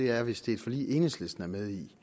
er hvis det er et forlig enhedslisten er med i